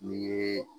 Ni ye